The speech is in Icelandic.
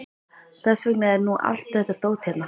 Þess vegna er nú allt þetta dót hérna.